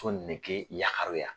Fo nege yaharuya.